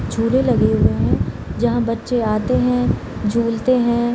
झूलें लगे हुए हैं जहाँ बच्चे आते हैं झूलते हैं।